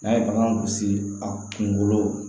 N'a ye bagan gosi a kunkolo la